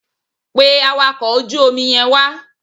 Pe awakọ̀ ojú omi yẹn wá.